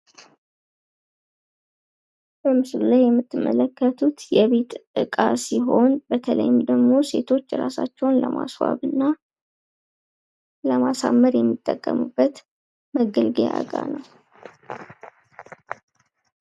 ምስሉ ላይ የምንመለከተው የቤት እቃ ሲሆን በተለይ ሴቶች ራሳቸውን ለማስዋብ የሚጠቀሙበት መገልገያ እቃ ነው ።